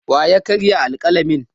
Wa ya karya alƙalamin?